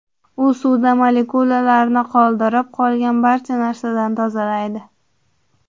U suvda molekulalarni qoldirib, qolgan barcha narsadan tozalaydi.